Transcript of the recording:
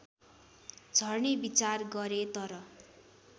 झर्ने विचार गरे तर